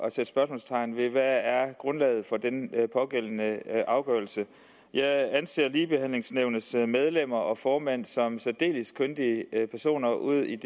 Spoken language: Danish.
at sætte spørgsmålstegn ved hvad grundlaget for den pågældende afgørelse er jeg anser ligebehandlingsnævnets medlemmer og formand som særdeles kyndige personer udi